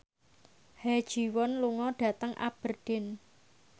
Ha Ji Won lunga dhateng Aberdeen